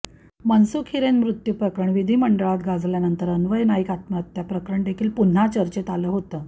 मनसुख हिरेन मृत्यू प्रकरण विधीमंडळात गाजल्यानंतर अन्वय नाईक आत्महत्या प्रकरणदेखील पुन्हा चर्चेत आलं होतं